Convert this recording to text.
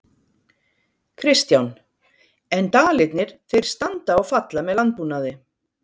Kristján: En Dalirnir þeir standa og falla með landbúnaði?